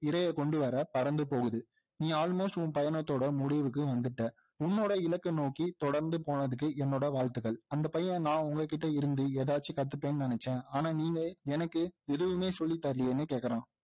இரையை கொண்டுவர பறந்து போகுது நீ almost உன் பையனத்தோட முடிவுக்கு வந்துட்ட உன்னோட இலக்கை நோக்கி தொடர்ந்து போறதுக்கு என்னோட வாழ்த்துகள் அந்த பையன் நான் உங்ககிட்ட இருந்து எதாவது கத்துப்பேன்னு நினைச்சேன் ஆனால் நீங்க எனக்கு எதுவுமே சொல்லித்தரலையேன்னு கேக்குறான்